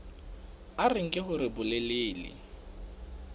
a re nke hore bolelele